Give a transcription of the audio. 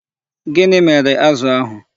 Gịnị mere azụ ahụ?